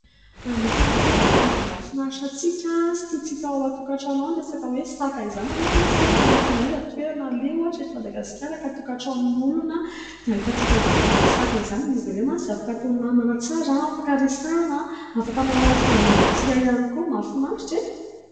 Anisan'ny tena hoe biby mahafinaritra antsika sy tiantsika ao an-tokantrano ao ny resaka hoe saka izany. Nareo ve mahatsikaritra fa n'aiza n'aiza toerana aleha ohatra eto Madagasikara ka tokantranon'olona dia ahitantsika zany bidy saka izany ? Izy ireny mantsy dia afaka atao namana tsara, afaka resahana, afaka manala ny fahanginantsika ihany koa. Mafinahita e ?